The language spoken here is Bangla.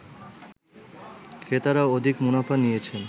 ক্রেতারা অধিক মুনাফা নিয়েছেন